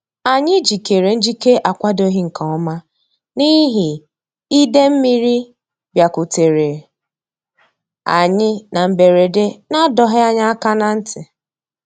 Anyị jikere njike a kwadoghị nke ọma n'ihi ide mmiri bịakutere anyị na mberede na-adọghị anyị aka na ntị